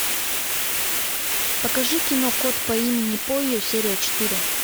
покажи кино кот по имени пойо серия четыре